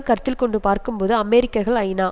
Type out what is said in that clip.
கருத்தில் கொண்டு பார்க்கும்போது அமெரிக்கர்கள் ஐநா